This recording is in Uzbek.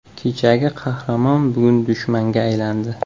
Kechagi qahramon bugun dushmanga aylandi.